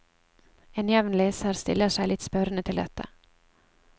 En jevn leser stiller seg litt spørrende til dette.